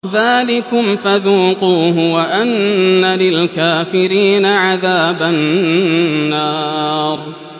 ذَٰلِكُمْ فَذُوقُوهُ وَأَنَّ لِلْكَافِرِينَ عَذَابَ النَّارِ